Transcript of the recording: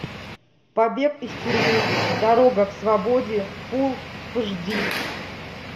побег из тюрьмы дорога к свободе фул аш ди